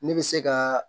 Ne bɛ se ka